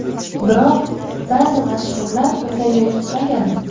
Biroq ba’zi mashhurlar bunday yo‘l tutmagan.